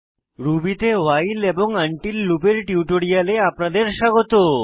Ruby তে while এবং until লুপের টিউটোরিয়ালে আপনাদের স্বাগত